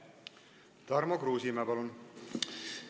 Tarmo Kruusimäe, palun!